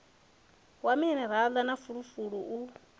wa minirala na fulufulu u